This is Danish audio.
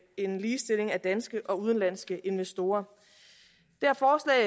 en ligestilling af danske og udenlandske investorer